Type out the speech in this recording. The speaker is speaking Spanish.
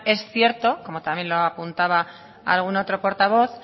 es cierto como también lo apuntaba algún otro portavoz